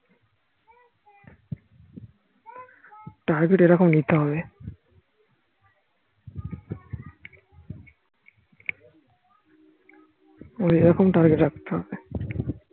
এরকম target রাখতে হবে